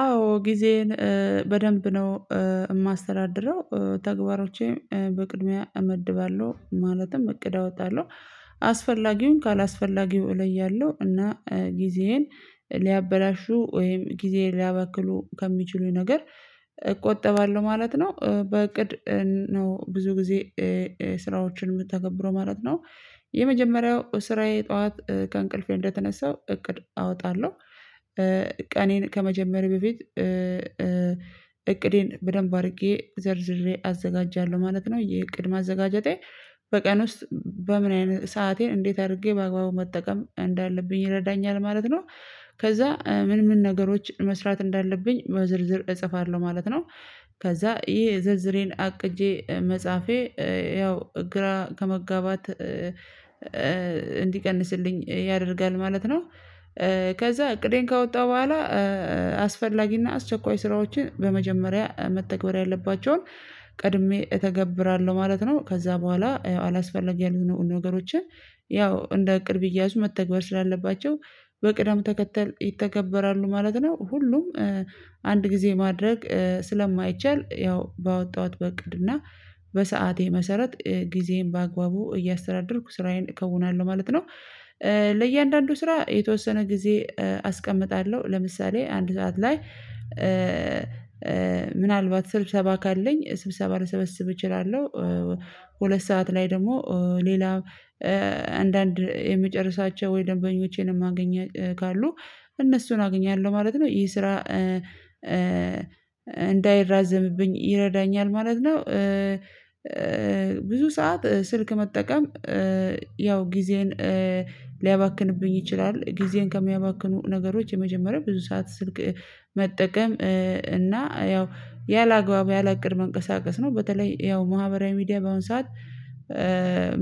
አዎ ጊዜዬን በደንብ ነው። የማስተዳድረው ተግባሮቼም በቅድሚያ እመድባለሁ ማለትም እቅድ አወጣለሁ። አስፈላጊውን ካላስፈላጊው እለያለሁ እና ጊዜዬን ሊያበላሹ ወይም ጊዜዬን ሊያባክኑ ከሚችሉኝ ነገር እቆጠባለሁ ማለት ነው። በእቅድ ነው ብዙ ጊዜ ስራዎችን የምታገብረው ማለት ነው። የመጀመሪያው ስራዬ ጠዋት ከእንቅልፌ እንደተነሳው እቅድ አወጣለሁ ቀኔን ከመጀመሬ በፊት እቅዴን በደንብ አድርጌ ዘርዝሬ አዘጋጃለሁ ማለት ነው። የእቅድ ማዘጋጀቴ በቀን ውስጥ በምን አይነት ሰአቴን እንዴት አድርጌ በአግባቡ መጠቀም እንዳለብኝ ይረዳኛል ማለት ነው። ከዚያ ምን ምን ነገሮች መስራት እንዳለብኝ ዝርዝር እጽፋለሁ ማለት ነው። ከዚያ ይሄ ዝርዝሬን አቅጄ መጻፌ ያው ግራ ከመጋባት እንዲቀንስልኝ ያደርጋል ማለት ነው። ከዚያ እቅዴን ከወጣሁ በኋላ አስፈላጊና አስቸኳይ ስራዎችን በመጀመሪያ መተግበር ያለባቸውን ቀድሜ እተገብራለሁ ማለት ነው። ከዚያ በኋላ አላስፈለግም የሆኑ ነገሮችን ያው እንደ እቅድ ብያዙ መተግበር ስላለባቸው በቅደም ተከተል ይተገበራሉ ማለት ነው። ሁሉም አንድ ጊዜ ማድረግ ስለማይቻል ያው ባወጣሁት በእቅድ እና በሰአቴ መሰረት ጊዜዬን በአግባቡ እያስተዳደርኩ ስራዬን እከውናለሁ ማለት ነው። ለእያንዳንዱ ስራ የተወሰነ ጊዜ አስቀምጣለሁ ለምሳሌ አንድ ሰዓት ላይ ምናልባት ስብሰባ ካለኝ ስብሰባ ለሰበሰብ እችላለሁ። ሁለት ሰዓት ላይ ደግሞ ሌላ አንዳንድ የምጨርሳቸው ወይ ደንበኞቼንም የማገ ካሉ እነሱን አግኛለሁ ማለት ነው። ይሄ ስራ እንዳይራዘምብኝ ይረዳኛል ማለት ነው። ብዙ ሰዓት ስልክ መጠቀም ያው ጊዜን ሊያባክንብኝ ይችላል። ጊዜን ከሚያባክኑ ነገሮች የመጀመሪያ ብዙ ሰዓት ስልክ መጠቀም እና ያው ያለአግባብ ያለእቅር መንቀሳቀስ ነው በተለይ ያው ማህበራዊ ሚዲያ በአሁን ሰዓት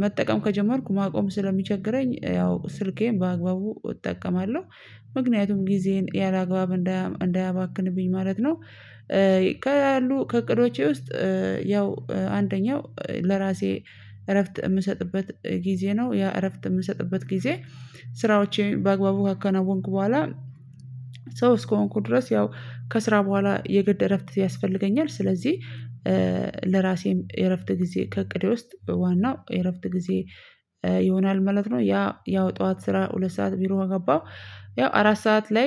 መጠቀም ከጀመርኩ ማቆም ስለሚቸገረኝ ያው ስልኬን በአግባቡ እጠቀማለሁ። ምክንያቱም ጊዜን ያለአግባብ እንዳያባክንብኝ ማለት ነው። ከሉ ከእቅዶቼ ውስጥ ያው አንደኛው ለራሴ እረፍት የምሰጥበት ጊዜ ነው ያ እረፍት የምሰጥበት ጊዜ ስራዎቼን በአግባቡ ካከናወንኩ በኋላ ሰው እስከሆንኩት ድረስ ያው ከስራ በኋላ የግድ እረፍት ያስፈልገኛል ስለዚህ ለራሴም የእረፍት ጊዜ ከእቅዴ ውስጥ ዋናው የእረፍት ጊዜዬ ይሆናል ማለት ነው። ያ ያው ጠዋት ስራ ሁለት ሰዓት ቢሮ ከገባሁ ያው አራት ሰዓት ላይ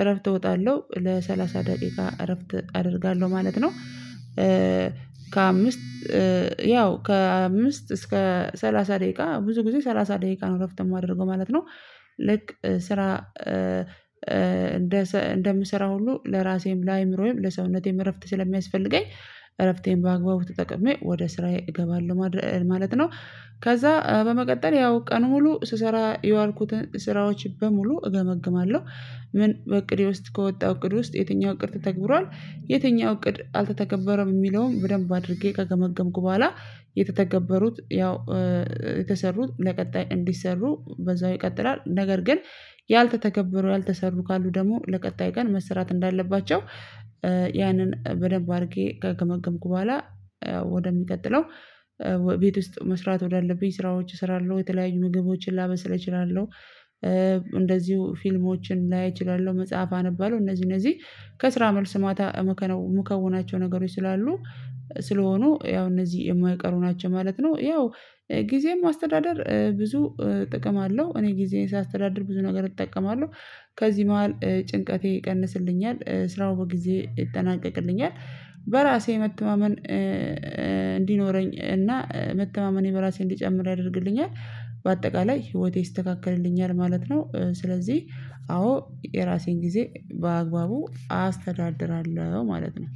እረፍት እወጣለሁ ለሰላሳ ደቂቃ እረፍት አደርጋለሁ ማለት ነው። ከአምስት ያው ከአምስት እስከ ሰላሳ ደቂቃ ብዙ ጊዜ ሰላሳ ደቂቃ ነው እረፍት የማደርገው ማለት ነው። ልክ ስራ እንደ እንደምሰራ ሁሉ ለራሴም ለአእምሮዬም ለሰውነቴም እረፍት ስለሚያስፈልገኝ እረፍቴን በአግባቡ ተጠቅሜ ወደ ስራዬ እገባለሁ ማለት ነው። ከዚያ በመቀጠል ያው ቀን ሙሉ ስሰራ የዋልኩትን ስራዎች በሙሉ እገመግማለሁ። ምን በእቅዴ ውስጥ ከወጣ እቅድ ውስጥ የትኛው እቅድ ተተግብሯል? የትኛው እቅድ አልተተገበረም? የሚለውን በደንብ አድርጌ ከገመገምኩ በኋላ የተተገበሩት ያው የተሰሩት ለቀጣይ እንዲሰሩ በዚያው ይቀጥላል። ነገር ግን ያልተተገበሩ ያልተሰሩ ካሉ ደግሞ ለቀጣይ ቀን መስራት እንዳለባቸው ያንን በደንብ አድርጌ ከገመገምኩ በኋላ ወደሚቀጥለው ቤት ውስጥ መስራት ወዳለብኝ ስራዎች እሰራለሁ። የተለያዩ ምግቦችን ላበስል እችላለሁ። እንደዚሁ ፊልሞችን ላይ እችላለሁ መጽሐፍ አንባለው እነዚህ እነዚህ ከስራ መልስ ማታ የምከውናቸው ነገሮች ስላሉ ስለሆኑ ያው እነዚህ የማይቀሩ ናቸው ማለት ነው። ያው ጊዜም አስተዳደር ብዙ ጥቅም አለው እኔ ጊዜን ሳስተዳደር ብዙ ነገር እጠቀማለሁ። ከዚህ መዋል ጭንቀቴ ይቀንስልኛል ስራው በጊዜ ይጠናቀቅልኛል። በራሴ መተማመን እንዲኖረኝ እና መተማመኔም በራሴ እንዲጨምር ያደርግልኛል። በአጠቃላይ ህይወቴ ይስተካከልልኛል ማለት ነው። ስለዚህ አዎ የራሴን ጊዜ በአግባቡ አስተዳድራለሁ ማለት ነው።